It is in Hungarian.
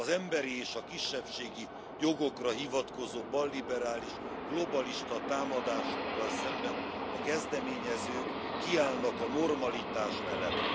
Az emberi és a kisebbségi jogokra hivatkozó balliberális, globalista támadásokkal szemben a kezdeményezők kiállnak a normalitás mellett.